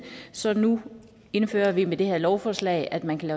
så nu indfører vi med det her lovforslag at man kan